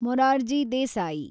Morarji Desai